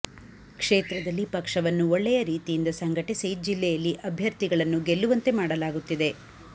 ಕ್ಷೇತ್ರದಲ್ಲಿ ಪಕ್ಷವನ್ನು ಒಳ್ಳೆಯ ರೀತಿಯಿಂದ ಸಂಘಟಿಸಿ ಜಿಲ್ಲೆಯಲ್ಲಿ ಅಭ್ಯರ್ಥಿಗಳನ್ನು ಗೆಲ್ಲುವಂತೆ ಮಾಡಲಾಗುತ್ತಿದೆ